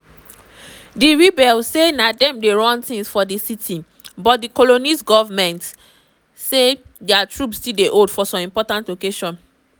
di rebels say na dem dey run tins now for di city but di congolese goment say dia troops still dey hold some important locations.